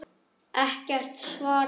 Ekkert svar barst.